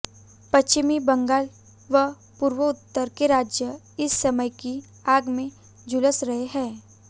पश्चिमी बंगाल व पूर्वोत्तर के राज्य इस समस्या की आग में झुलस रहे हैं